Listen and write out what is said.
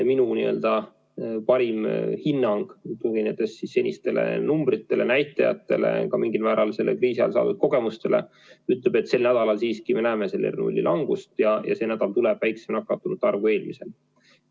Minu parim hinnang, tuginedes senistele numbritele, näitajatele, ka mingil määral kriisiajal saadud kogemustele, ütleb, et sel nädalal me siiski näeme R0 langust, see nädal tuleb väiksem arv kui eelmisel.